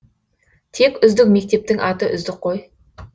тек үздік мектептің аты үздік қой